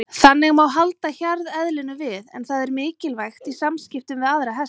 Þannig má halda hjarðeðlinu við en það er mikilvægt í samskiptum við aðra hesta.